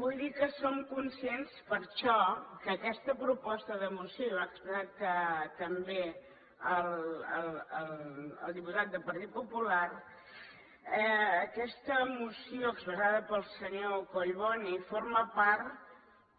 vull dir que som conscients per això que aquesta proposta de moció i ho ha expressat també el diputat del partit popular expressada pel senyor collboni forma part